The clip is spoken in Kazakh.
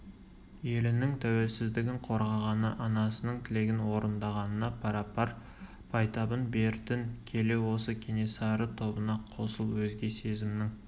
елінің тәуелсіздігін қорғағаны анасының тілегін орындағанына пара-пар байтабын бертін келе осы кенесары тобына қосыл өзге сезімнің